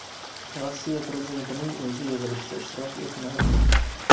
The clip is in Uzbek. Rossiya prezidentining o‘zi yig‘ilishda ishtirok etmadi.